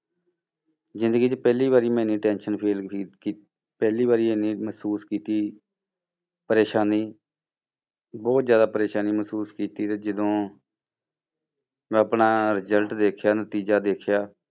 ਜ਼ਿੰਦਗੀ 'ਚ ਪਹਿਲੀ ਵਾਰੀ ਮੈਂ ਇੰਨੀ tension feel ਕੀ~ ਕੀ~ ਪਹਿਲੀ ਵਾਰੀ ਇੰਨੀ ਮਹਿਸੂਸ ਕੀਤੀ ਪਰੇਸਾਨੀ ਬਹੁਤ ਜ਼ਿਆਦਾ ਪਰੇਸਾਨੀ ਮਹਿਸੂਸ ਕੀਤੀ ਤੇ ਜਦੋਂ ਮੈਂ ਆਪਣਾ result ਦੇਖਿਆ ਨਤੀਜਾ ਦੇਖਿਆ,